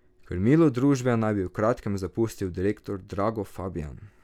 Krmilo družbe naj bi v kratkem zapustil direktor Drago Fabijan.